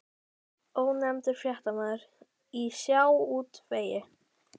Ónefndur fréttamaður: Í sjávarútvegi?